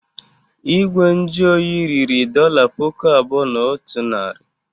Igwe nju oyi riri dọla puku abụọ na otu narị.